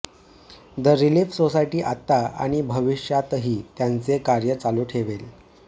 the relief society आत्ता आणि भविष्यातही त्याचे कार्य चालू ठेवेल